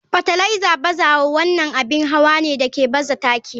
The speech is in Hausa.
Fartiliser bazawa wannan abin hawa ne da ke baza taki.